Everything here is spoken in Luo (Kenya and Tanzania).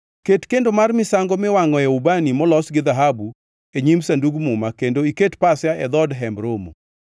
Ket kendo mar misango miwangʼoe ubani molos gi dhahabu e nyim Sandug Muma kendo iket pasia e dhood Hemb Romo.